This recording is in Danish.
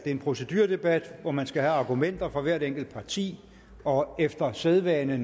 er en proceduredebat hvor man skal have argumenter fra hvert enkelt parti og efter sædvane